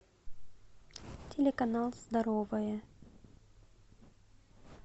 телеканал здоровое